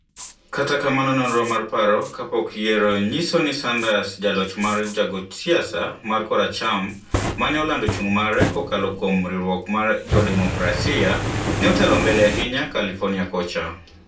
kata kamano nonro mar paro kapok yieyo nyiso ni Sanders, ja loch mar jagoch siasa mar koracham maneolando chung mare kokalo kuom riwruok mar jo Demokrasia, ne otelo mbele ahinya California kocha.